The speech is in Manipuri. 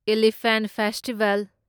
elephant festival